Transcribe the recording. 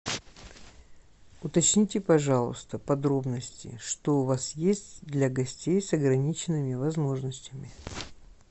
уточните пожалуйста подробности что у вас есть для гостей с ограниченными возможностями